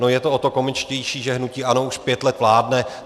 No je to o to komičtější, že hnutí ANO už pět let vládne.